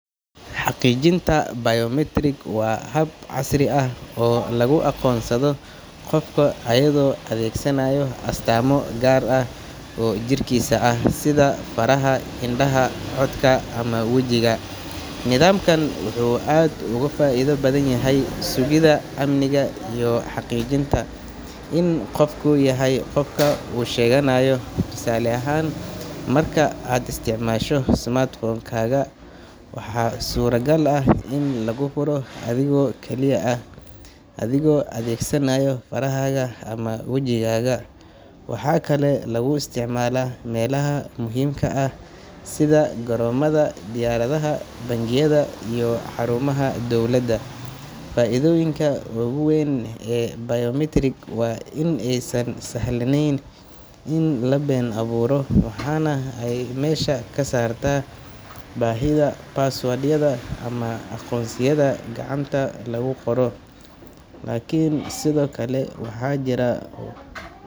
Xaqiijinta biometric waa hab casri ah oo lagu aqoonsado qofka iyadoo la adeegsanayo astaamo gaar ah oo jirkiisa ah, sida faraha, indhaha, codka ama wejiga. Nidaamkan wuxuu aad ugu faa’iido badan yahay sugidda amniga iyo xaqiijinta in qofku yahay qofka uu sheeganayo. Tusaale ahaan, marka aad isticmaasho smartphone-kaaga, waxaa suuragal ah in laguu furo adigoo kaliya ah, adigoo adeegsanaaya farahaaga ama wajigaaga. Waxaa kaloo lagu isticmaalaa meelaha muhiimka ah sida garoomada diyaaradaha, bangiyada iyo xarumaha dowladda. Faa’iidooyinka ugu weyn ee biometric waa in aysan sahlanayn in la been abuuro, waxaana ay meesha ka saartaa baahida password-yada ama aqoonsiyada gacanta lagu qoro. Laakiin sidoo kale, waxaa jira.